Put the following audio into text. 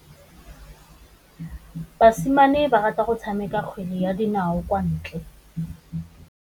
Basimane ba rata go tshameka kgwele ya dinaô kwa ntle.